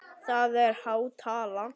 Það er há tala.